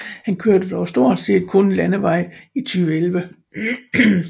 Han kørte dog stort set kun landevej i 2011